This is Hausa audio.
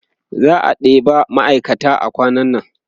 za'a ɗeba ma'aikata kwanan nan